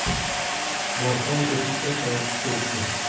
Borsam, eshik katta ochiq turibdi.